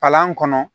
Palan kɔnɔ